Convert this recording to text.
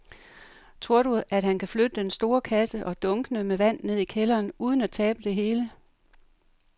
Tror du, at han kan flytte den store kasse og dunkene med vand ned i kælderen uden at tabe det hele?